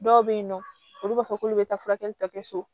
Dɔw bɛ yen nɔ olu b'a fɔ k'olu bɛ taa furakɛli tɔ kɛ so